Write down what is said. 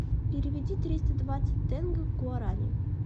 переведи триста двадцать тенге в гуарани